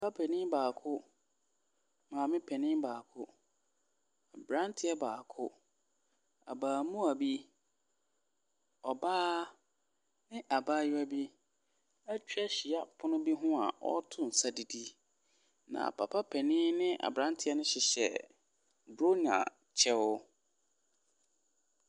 Papa panin baako, maame panin baako. Aberanteɛ baako. Abarimaa bi, ɔbaa, abaayewa bi atwa ahyia wɔ pono bi ho a wɔreto nsa didi, na papa panin ne aberanteɛ no hyehyɛ Bronya kyɛw.